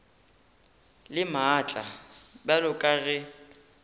le maatla bjalo ka ge